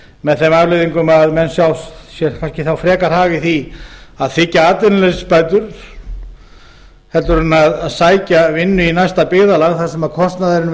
með þeim afleiðingum að menn sjá sér kannski þá frekar hag í því að þiggja atvinnuleysisbætur heldur en sækja vinnu í næsta byggðarlag þar sem kostnaðurinn við atvinnusóknina